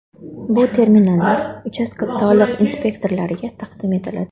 Bu terminallar uchastka soliq inspektorlariga taqdim etiladi.